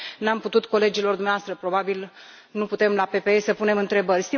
Nu am putut colegilor dumneavoastră, probabil nu putem la PPE să punem întrebări.